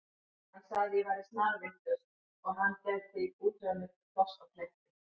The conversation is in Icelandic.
Hann sagði að ég væri snarvitlaus og hann gæti útvegað mér pláss á Kleppi.